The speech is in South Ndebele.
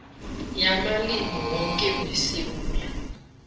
yamalimi woke wesewula